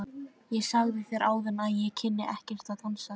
Ég sagði þér áðan að ég kynni ekkert að dansa.